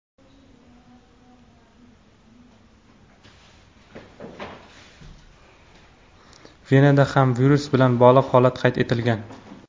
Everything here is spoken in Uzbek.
Venada ham virus bilan bog‘liq holat qayd etilgan.